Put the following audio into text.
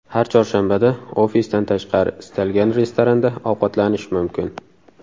Har chorshanbada ofisdan tashqari istalgan restoranda ovqatlanish mumkin.